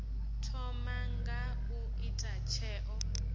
thoma nga u ita tsheo